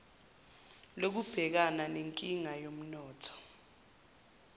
lokubhekana nenkinga yomnotho